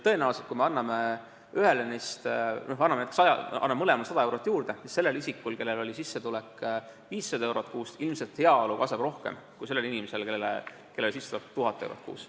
Kui anname mõlemale 100 eurot juurde, siis sellel isikul, kelle sissetulek oli 500 eurot kuus, kasvab heaolu ilmselt rohkem kui sellel inimesel, kelle sissetulek oli 1000 eurot kuus.